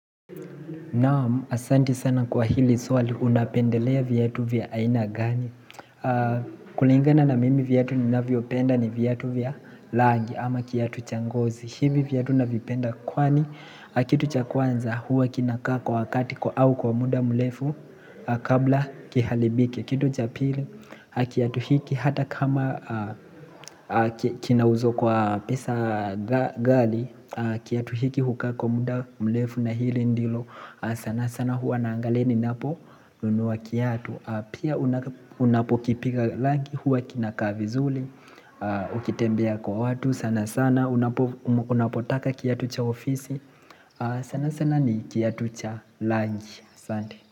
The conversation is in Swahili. Naam, asanti sana kwa hili swali unapendelea viatu vya aina gani? Kulingana na mimi viatu ni navyo penda ni vyatu vya langi ama kiyatu cha ngozi. Hivi viatu na vipenda kwani, kitu cha kwanza huwa kinakaa kwa wakati kwa au kwa muda mlefu kabla kihalibike. Kitu cha pili, kiatu hiki hata kama kina uzo kwa pesa ghali kiatu hiki hukaa kwa muda mlefu na hili ndilo sana sana huwa naangaleni ninapo nunua kiatu. Pia unapo kipiga langi huwa kina kaa vizuli Ukitembea kwa watu sana sana, unapo unapo taka kiatu cha ofisi sana sana ni kiatu cha langi Sandi.